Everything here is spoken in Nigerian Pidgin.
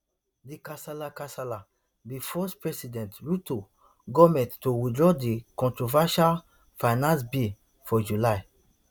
di kasala kasala bin force president ruto goment to withdraw di controversial finance bill for july